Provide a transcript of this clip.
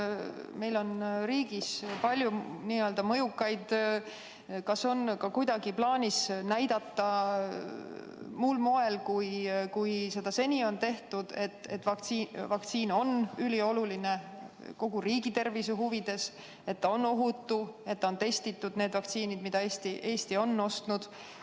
Kas meil on riigis palju mõjukaid inimesi ja kas on plaanis näidata kuidagi muul moel, kui seda seni on tehtud, et vaktsiin on kogu riigi tervise huvides ülioluline, et see on ohutu, et need vaktsiinid, mida Eesti on ostnud, on testitud?